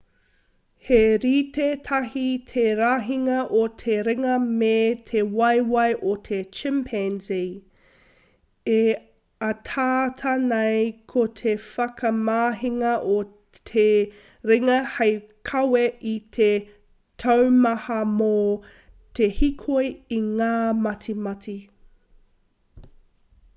he rite tahi te rahinga o te ringa me te waewae o te chimpanzee e ataata nei ko te whakamahinga o te ringa hei kawe i te taumaha mō te hīkoi i ngā matimati